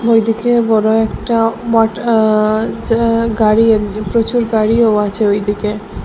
ওইদিকে বড় একটা মাঠ আ-যা-গাড়ি প্রচুর গাড়িও আছে ওইদিকে।